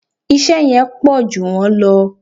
Iṣẹ́ yẹn pọ̀jù wọ́n lọ